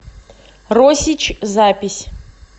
росич запись